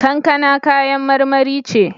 Kankana kayan marmari ce.